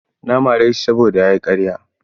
Na mare shi saboda ya yi karya.